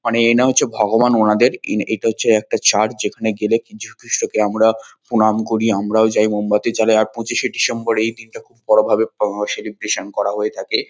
মানে এনা হচ্ছেন ভগবান মহাদেব। ইন এটা হচ্ছে একটা চার্চ যেখানে গেলে আমরা যীশু খ্রীষ্টকে আমরা প্রণাম করি। আমরাও যাই মোমবাতি জ্বালাই আর পঁচিশে ডিসেম্বর এই দিনটা খুব বড়ো ভাবে পালন সেলিব্রেশান করা হয়ে থাকে।